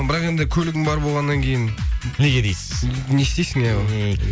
бірақ енді көлігім бар болғаннан кейін неге дейсіз не істейсің иә